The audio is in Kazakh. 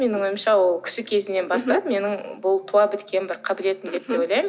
менің ойымша ол кіші кезімнен бастап менің бұл туа біткен бір қабілетім деп те ойлаймын